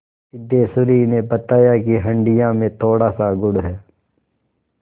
सिद्धेश्वरी ने बताया कि हंडिया में थोड़ासा गुड़ है